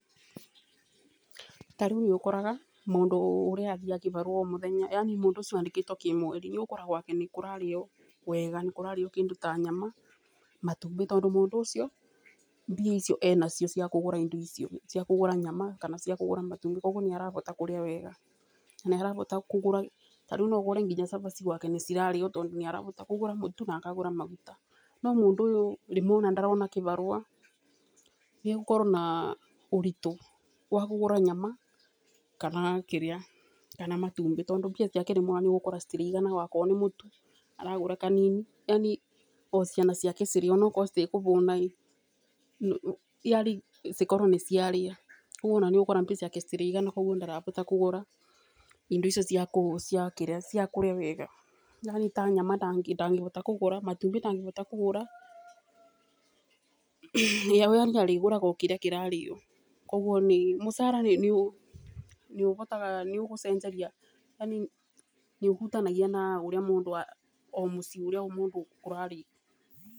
Tarĩũ nĩũkoraga mũndũ ũrĩa athiaga kĩbarũa omũthenya yaani mũndũ ũcio andĩkĩtwo kĩmweri, nĩũgũkoraga gwake nĩkũrarĩo wega, nĩkũrarĩo kĩndũ ta nyama, matumbĩ ,tondũ mũndũ ũcio mbia icio enacio ciakũgũra indo ta icio, cia kũgũra nyama cia kũgũra matumbĩ kwoguo nĩarahota kũrĩa wega ,nĩarahota kũgũra ta rĩũ noahite kũgũra cabaci gwake tondũ nĩarahota kũgũra mũtu na kũgũra maguta nomũndũ ũyũ rĩmwe ndarona kĩbarũa nigũkorwo na ũritũ wa kũgũra nyama kana matumbĩ tondũ mbia ciake rĩũ itiraigana wakorwo nĩ mũtu aragũra kanini yaani ociana ciake cirĩe onawakorwo itĩkũhũna rĩ cikorwe nĩciarĩa ,kwoguo nĩũgũkora mbia ciake itiraigana kwoguo ndekũhota kũgũra indo icio cia kũria wega, yaani ta nyama ndagĩhota kũgũra, matumbi ndangĩhota kũgũra, rĩrĩa we arĩhotaga kũgũra okĩrĩa kĩrarĩo, kwoguo mũcara nĩũgũcenjia yaani nĩũhutanagia na ũrĩa mũndũ kũrarĩo.